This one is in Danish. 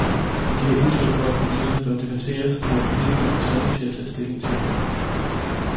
Hun giver udtryk for, at problemet bør debatteres, og at politikerne er tvunget til at tage stilling til det.